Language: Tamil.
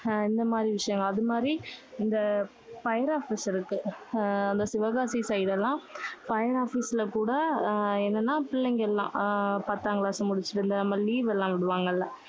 இந்த மாதிரி விஷயங்கள். அது மாதிரி இந்த fire office இருக்கு. அஹ் இந்த சிவகாசி side எல்லாம் fire office ல கூட அஹ் என்னன்னா பிள்ளைங்க எல்லாம் ஆஹ் பத்தாம் class முடிச்சிட்டு, இந்த ம~ leave எல்லாம் விடுவாங்கல்ல.